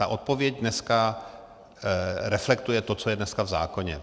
Ta odpověď dneska reflektuje to, co je dneska v zákoně.